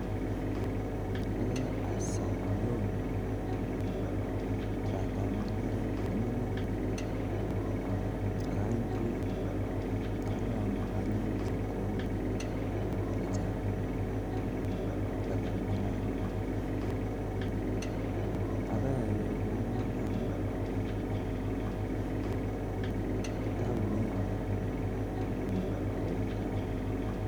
Akoi asom loan siatoi mung'aret neming'in akoi anyoru chepkondok atoi mung'aret neo mising